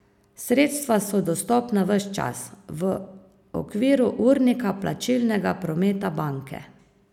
Sredstva so dostopna ves čas, v okviru urnika plačilnega prometa banke.